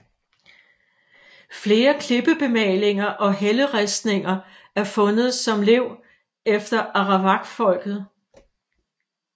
Flere klippebemalinger og helleristninger er fundet som lev efter arawakfolket